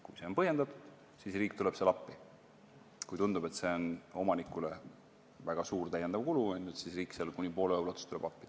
Kui see on põhjendatud, siis riik tuleb appi, kui tundub, et see on omanikule väga suur täiendav kulu, siis tuleb riik kuni pooles ulatuses appi.